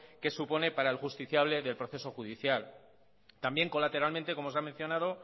que supone para el justiciable del proceso judicial también colateralmente como se ha mencionado